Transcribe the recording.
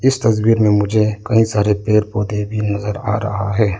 इस तस्वीर में मुझे कई सारे पेड़ पौधे भी नजर आ रहा है।